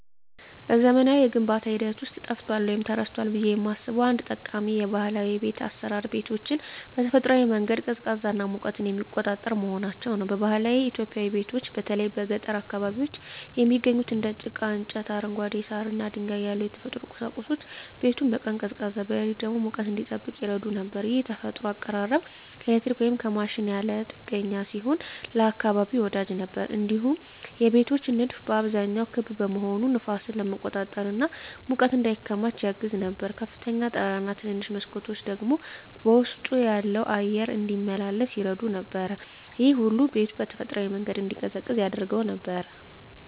በዘመናዊው የግንባታ ሂደት ውስጥ ጠፍቷል ወይም ተረስቷል ብዬ የማስበው አንድ ጠቃሚ ባህላዊ የቤት አሰራር ቤቶችን በተፈጥሯዊ መንገድ ቀዝቃዛና ሙቀትን የሚቆጣጠር መሆናቸው ነው። በባህላዊ ኢትዮጵያዊ ቤቶች በተለይ በገጠር አካባቢዎች የሚገኙት እንደ ጭቃ፣ እንጨት፣ አረንጓዴ ሳር እና ድንጋይ ያሉ የተፈጥሮ ቁሳቁሶች ቤቱን በቀን ቀዝቃዛ፣ በሌሊት ደግሞ ሙቀት እንዲጠብቅ ይረዱ ነበር። ይህ የተፈጥሮ አቀራረብ ከኤሌክትሪክ ወይም ከማሽን ያለ ጥገኛ ሲሆን ለአካባቢ ወዳጅ ነበር። እንዲሁም የቤቶች ንድፍ በአብዛኛው ክብ መሆኑ ነፋስን ለመቆጣጠር እና ሙቀት እንዳይከማች ያግዝ ነበር። ከፍተኛ ጣራ እና ትንንሽ መስኮቶች ደግሞ ውስጡ ያለው አየር እንዲመላለስ ይረዱ ነበር። ይህ ሁሉ ቤቱ በተፈጥሯዊ መንገድ እንዲቀዝቅዝ ያደርገው ነበር።